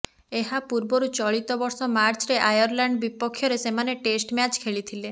ଏହା ପୂର୍ବରୁ ଚଳିତ ବର୍ଷ ମାର୍ଚ୍ଚରେ ଆୟର୍ଲ୍ୟାଣ୍ଡ୍ ବିପକ୍ଷରେ ସେମାନେ ଟେଷ୍ଟ ମ୍ୟାଚ୍ ଖେଳିଥିଲେ